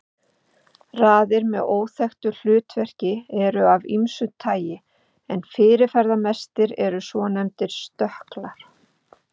Raðir með óþekkt hlutverk eru af ýmsu tagi en fyrirferðamestir eru svonefndir stökklar.